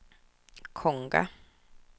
Konga